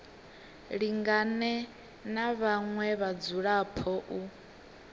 lingane na vhaṅwe vhadzulapo u